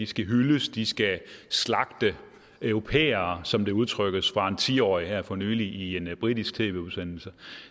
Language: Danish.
skal hyldes de skal slagte europæere som det blev udtrykt af en ti årig her for nylig i en britisk tv udsendelse